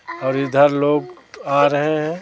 और इधर लोग आ रहे हैं।